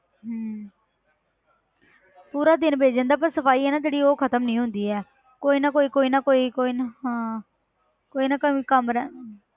ਹਮ ਪੂਰਾ ਦਿਨ ਬੀਤ ਜਾਂਦਾ ਪਰ ਸਫ਼ਾਈ ਹੈ ਨਾ ਜਿਹੜੀ ਉਹ ਖ਼ਤਮ ਨੀ ਹੁੰਦੀ ਹੈ ਕੋਈ ਨਾ ਕੋਈ ਕੋਈ ਨਾ ਕੋਈ ਕੋਈ ਨਾ ਹਾਂ, ਕੋਈ ਨਾ ਕੋਈ ਕੰਮ ਰਹਿ